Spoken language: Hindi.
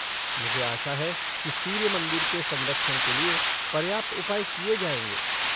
मुझे आशा है कि सूर्य मंदिर के संरक्षण के लिए पर्याप्त उपाय किए जाएँगे।